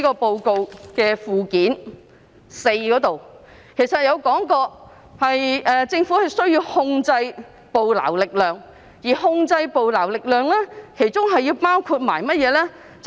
報告的附件四其實還提到政府需要控制捕撈力量，而控制捕撈力量包括甚麼呢？